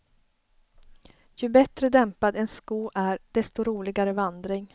Ju bättre dämpad en sko är desto roligare vandring.